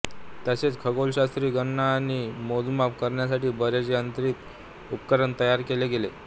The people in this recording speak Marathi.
तसेच खगोलशास्त्री गणना आणि मोजमाप करण्यासाठी बरेच यांत्रिक उपकरण तयार केले गेले